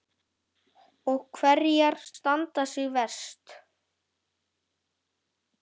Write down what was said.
Og hverjar standa sig verst?